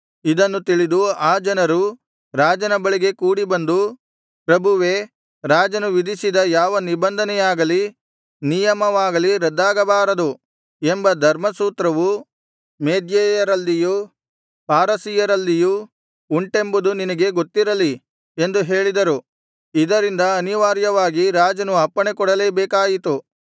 ಇದನ್ನು ತಿಳಿದು ಆ ಜನರು ರಾಜನ ಬಳಿಗೆ ಕೂಡಿಬಂದು ಪ್ರಭುವೇ ರಾಜನು ವಿಧಿಸಿದ ಯಾವ ನಿಬಂಧನೆಯಾಗಲಿ ನಿಯಮವಾಗಲಿ ರದ್ದಾಗಬಾರದು ಎಂಬ ಧರ್ಮಸೂತ್ರವು ಮೇದ್ಯಯರಲ್ಲಿಯೂ ಪಾರಸಿಯರಲ್ಲಿಯೂ ಉಂಟೆಂಬುದು ನಿನಗೆ ಗೊತ್ತಿರಲಿ ಎಂದು ಹೇಳಿದರು ಇದರಿಂದ ಅನಿವಾರ್ಯವಾಗಿ ರಾಜನು ಅಪ್ಪಣೆ ಕೊಡಲೇ ಬೇಕಾಯಿತು